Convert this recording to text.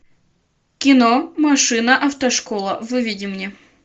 кино машина автошкола выведи мне